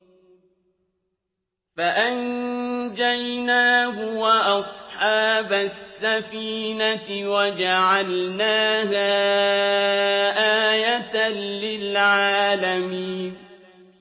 فَأَنجَيْنَاهُ وَأَصْحَابَ السَّفِينَةِ وَجَعَلْنَاهَا آيَةً لِّلْعَالَمِينَ